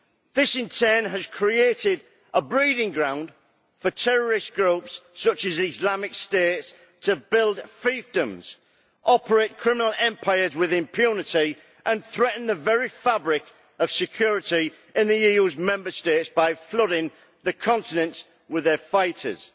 This in turn has created a breeding ground for terrorist groups such as Islamic State to build fiefdoms, operate criminal empires with impunity and threaten the very fabric of security in the EU's Member States by flooding the continent with their fighters.